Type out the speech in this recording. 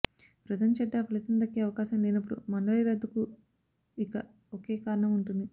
వ్రతం చెడ్డా ఫలితం దక్కే అవకాశం లేనపుడు మండలి రద్దుకు ఇక ఒకే కారణం ఉంటుంది